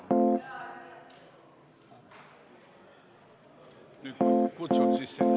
Mis?